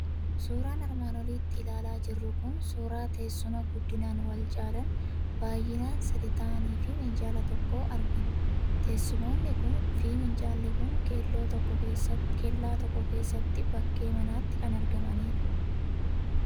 Suuraan armaan olitti ilaalaa jirru kun suuraa teessuma guddinaan wal caalan, baay'inaan sadii ta'anii fi minjaala tokkoo argina. Teessumoonni kunii fi minjaalli kun kellaa tokko keessatti bakkee manaatti kan argamanidha.